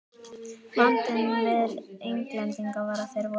Vandinn við Englendinga var að þeir voru